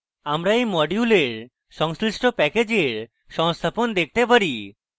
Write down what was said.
আমরা we module সংশ্লিষ্ট প্যাকেজের সংস্থাপন দেখতে পারি